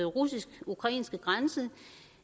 russisk ukrainske grænse